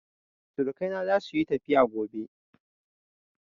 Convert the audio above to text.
Surukai na za su yi tafiya gobe